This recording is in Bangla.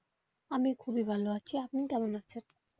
আমি খুবই ভালো আছি আপনি কেমন আছেন?